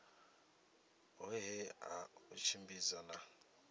hohe ha u tshimbidza na